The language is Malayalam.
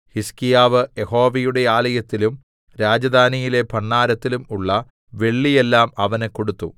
ഹിസ്ക്കീയാവ് യഹോവയുടെ ആലയത്തിലും രാജധാനിയിലെ ഭണ്ഡാരത്തിലും ഉള്ള വെള്ളിയെല്ലാം അവന് കൊടുത്തു